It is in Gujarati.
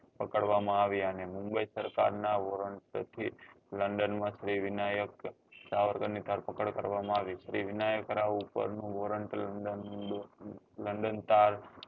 પકડવા માં આવ્યા ને ને mumbai સરકાર ના woarant થી london માં શ્રી વિનાયક સાવરકર ની ધરપકડ કરવા માં આવી શ્રી વિનાયક રાવ ઉપર નું woarant london તાર